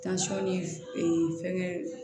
ni fɛngɛ